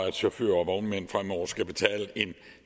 at chauffører og vognmænd fremover skal betale en